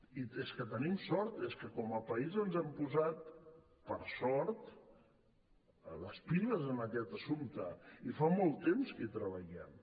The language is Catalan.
i és que tenim sort és que com a país ens hem posat per sort les piles en aquest assumpte i fa molt temps que hi treballem